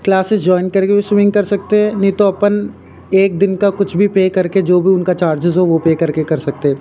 Classes join करके swimming कर सकते हैं नहीं तो अपन एक दिन का कुछ भी पे करके जो भी उनका चार्जेज हो वो पे करके कर सकते हैं।